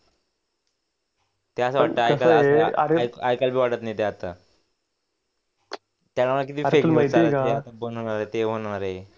ऐकायला बी वाटत नाही ते आता हे होणार आहे ते होणार आहे.